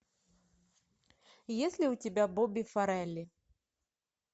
есть ли у тебя бобби фаррелли